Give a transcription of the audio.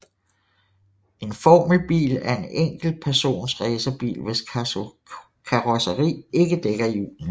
En formelbil er en enkelt persons racerbil hvis karrosseri ikke dækker hjulene